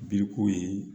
Biriko ye